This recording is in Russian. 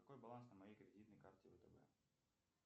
какой баланс на моей кредитной карте втб